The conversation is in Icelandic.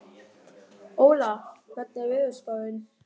Óla, hvernig er veðurspáin?